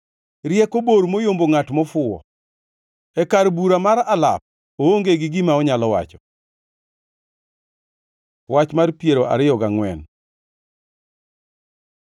Rieko bor moyombo ngʼat mofuwo; e kar bura mar alap oonge gi gima onyalo wacho. Wach mar piero ariyo gangʼwen